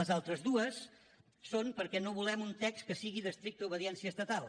les altres dues són perquè no volem un text que sigui d’estricta obediència estatal